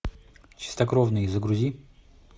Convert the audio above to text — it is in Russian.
чистокровные загрузи